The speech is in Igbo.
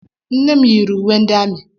Nne m yiri uwe ndị amị.